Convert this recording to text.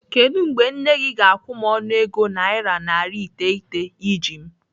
Kedụ mgbe nne gị ga-akwụ m ọnụego naira narị iteghete iji m?